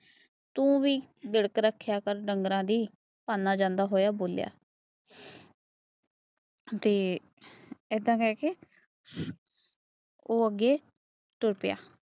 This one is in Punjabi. ਤੇ ਏਦਾਂ ਕਹਿ ਕੇ ਉਹ ਅੱਗੇ ਤੁਰ ਪਿਆ।